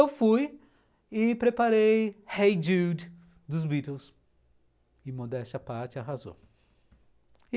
Eu fui e preparei Hey Dude, dos The Beatles, e modéstia parte arrasou.